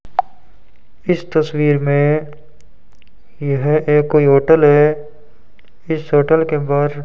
इस तस्वीर में यह एक कोई होटल है इस होटल के बाहर --